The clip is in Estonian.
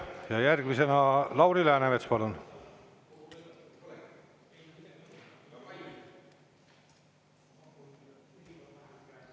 Ja järgmisena Lauri Läänemets, palun!